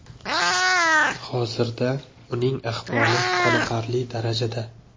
Hozirda uning ahvoli qoniqarli darajada.